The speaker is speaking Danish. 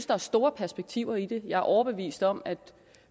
der er store perspektiver i det jeg er overbevist om at